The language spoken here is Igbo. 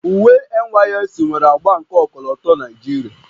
Uwe NYSC nwere agba nke ọkọlọtọ Naijiria